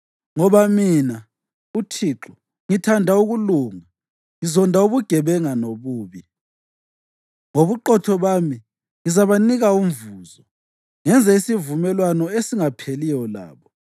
“Ngoba mina, uThixo, ngithanda ukulunga, ngizonda ubugebenga lobubi. Ngobuqotho bami ngizabanika umvuzo ngenze isivumelwano esingapheliyo labo.